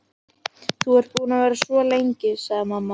Þú ert búin að vera svo lengi, sagði mamma.